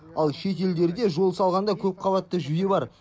ал шет елдерде жол салғанда көпқабатты жүйе бар